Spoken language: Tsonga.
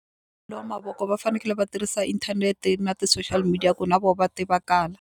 ya mavoko va fanekele va tirhisa inthanete na ti-social media ku na vo va tivakala.